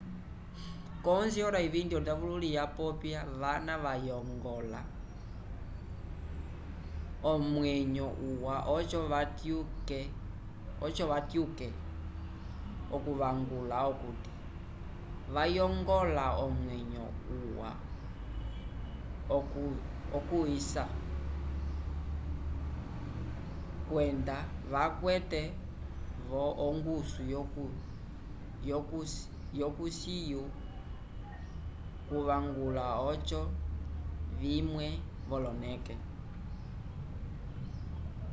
ko 11:20 ondavululi vapopya vana vayongola omwenyo uwa oco vatyuke okuvangula okuti vayongola omwenyo uwa okusya kwenda vakwe vo ongusu yo kusyo kuvangula oco vimwe voloke